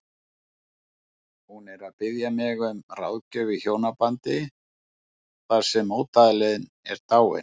Hún er að biðja mig um ráðgjöf í hjónabandi þar sem mótaðilinn er dáinn.